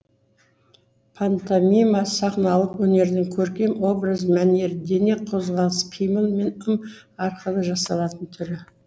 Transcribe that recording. пантомима сахналық өнердің көркем образ мәнері дене қозғалысы қимыл мен ым арқылы жасалатын түрі